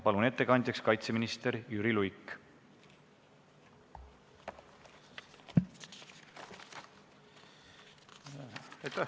Palun, ettekandja kaitseminister Jüri Luik!